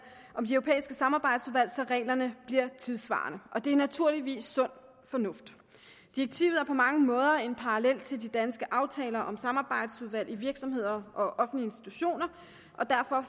samarbejdsudvalg så reglerne bliver tidssvarende og det er naturligvis sund fornuft direktivet er på mange måder en parallel til de danske aftaler om samarbejdsudvalg i virksomheder og offentlige institutioner og derfor